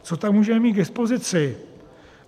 Co tam můžeme mít k dispozici?